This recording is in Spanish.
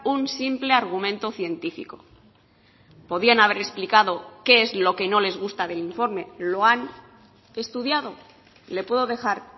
un simple argumento científico podían haber explicado qué es lo que no les gusta del informe lo han estudiado le puedo dejar